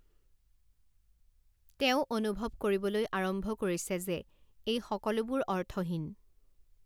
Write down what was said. তেওঁ অনুভৱ কৰিবলৈ আৰম্ভ কৰিছে যে এই সকলোবোৰ অৰ্থহীন।